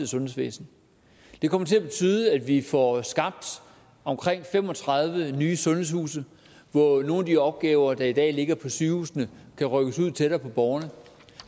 sundhedsvæsen den kommer til at betyde at vi får skabt omkring fem og tredive nye sundhedshuse så nogle af de opgaver der i dag ligger på sygehusene kan rykkes ud tættere på borgerne